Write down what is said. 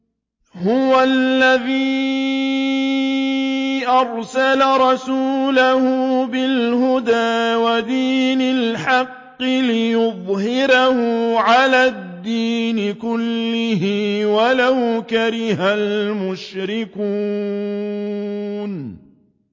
هُوَ الَّذِي أَرْسَلَ رَسُولَهُ بِالْهُدَىٰ وَدِينِ الْحَقِّ لِيُظْهِرَهُ عَلَى الدِّينِ كُلِّهِ وَلَوْ كَرِهَ الْمُشْرِكُونَ